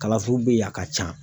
Kalanso bɛ yen a ka ca.